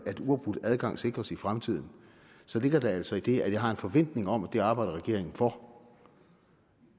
at uafbrudt adgang sikres i fremtiden så ligger der altså i det at jeg har en forventning om at det arbejder regeringen for